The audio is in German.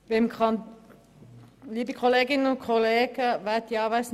Ihnen allen wünsche ich einen wunderbaren Abend.